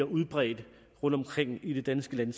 udbredt rundtomkring i det danske land